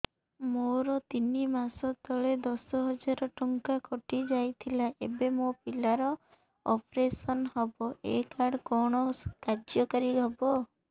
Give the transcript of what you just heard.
ମୋର ତିନି ମାସ ତଳେ ଦଶ ହଜାର ଟଙ୍କା କଟି ଯାଇଥିଲା ଏବେ ମୋ ପିଲା ର ଅପେରସନ ହବ ଏ କାର୍ଡ କଣ କାର୍ଯ୍ୟ କାରି ହବ